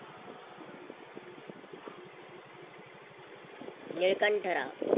Nilkanthrao